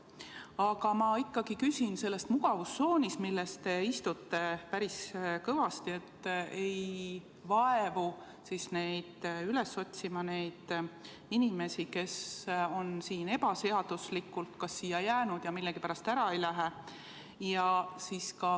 Aga ma ikkagi küsin selle mugavustsooni kohta, milles te istute päris kõvasti ega vaevu üles otsima neid inimesi, kes on ebaseaduslikult siia jäänud ja millegipärast ära ei lähe.